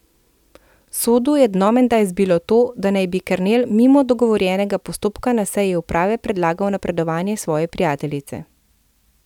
Sodu je dno menda izbilo to, da naj bi Kernel mimo dogovorjenega postopka na seji uprave predlagal napredovanje svoje prijateljice.